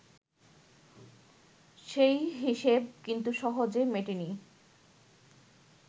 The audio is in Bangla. সেই হিসেব কিন্তু সহজে মেটেনি